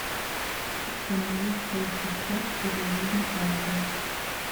установи все тип топ или жизнь на палубе